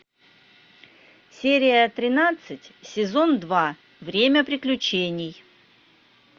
серия тринадцать сезон два время приключений